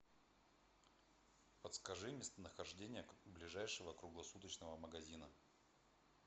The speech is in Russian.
подскажи местонахождение ближайшего круглосуточного магазина